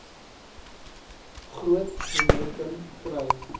groot momentum kry